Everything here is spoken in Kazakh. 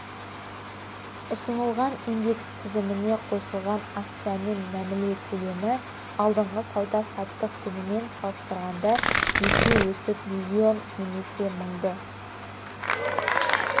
ұсынылған индекс тізіміне қосылған акциямен мәміле көлемі алдыңғы сауда-саттық күнімен салыстырғанда есе өсіп миллион немесе мыңды